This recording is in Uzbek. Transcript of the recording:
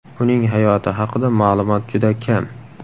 Uning hayoti haqida ma’lumot juda kam.